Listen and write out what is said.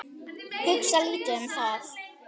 Hugsa lítið um það.